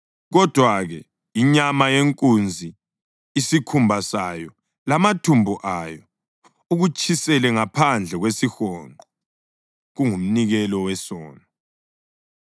Kodwa-ke inyama yenkunzi, isikhumba sayo lamathumbu ayo, ukutshisele ngaphandle kwesihonqo; kungumnikelo wesono.